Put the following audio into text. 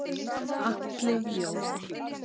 Atli Jó.